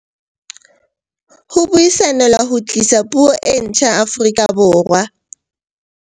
Ho buisanelwa ho tlisa puo e ntjha Aforika Borwa